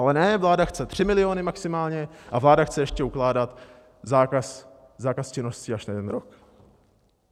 Ale ne, vláda chce 3 miliony maximálně a vláda chce ještě ukládat zákaz činnosti až na jeden rok.